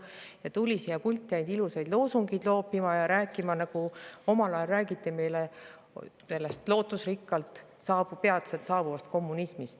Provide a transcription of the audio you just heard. Ta tuli siia pulti ainult ilusaid loosungeid loopima ja rääkima selliselt, nagu omal ajal räägiti meile lootusrikkalt peatselt saabuvast kommunismist.